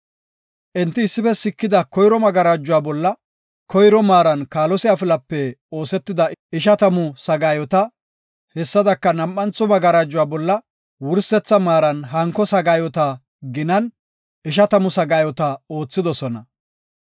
Enti issife siketida koyro magarajuwa bolla koyro maaran kaalose afilape oosetida ishatamu sagaayota, hessadaka nam7antho magarajuwa bolla wursetha maaran, hanko sagaayota ginan, ishatamu sagaayota oothidosona.